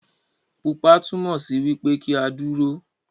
Pupa túmọ sí wipe ki a dúró.